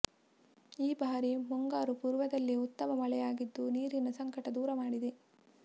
ಈ ಬಾರಿ ಮುಂಗಾರು ಪೂರ್ವದಲ್ಲೇ ಉತ್ತಮ ಮಳೆ ಆಗಿದ್ದು ನೀರಿನ ಸಂಕಟ ದೂರ ಮಾಡಿದೆ